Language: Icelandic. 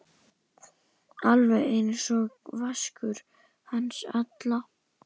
Alveg einsog Vaskur hans Alla?